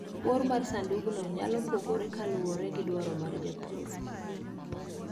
Bor mar sandugno nyalo pogore kaluwore gi dwaro mar japur.